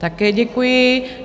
Také děkuji.